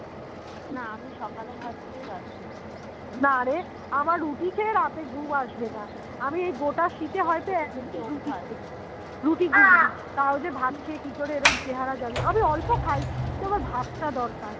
রুটি ঘুগনি তাও যে ভাত খেয়ে কিকরে এরম চেহারা আমি অল্প খাই কিন্তু আমার ভাত টা দরকার